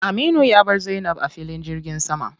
Aminu ya bar Zainab a filin jirgin sama.